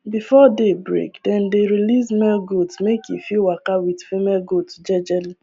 before day break dem dey release male goat make e fit waka with female goat jejely